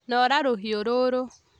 Noora rũhiũrũrũ